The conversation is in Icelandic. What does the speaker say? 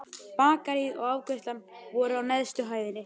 Bakaríið og afgreiðslan voru á neðstu hæðinni.